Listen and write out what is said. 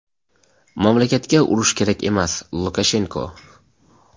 mamlakatga urush kerak emas – Lukashenko.